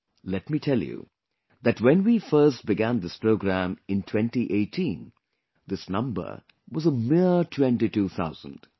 Let me tell you that when we first began this program in 2018, this number was a mere 22,000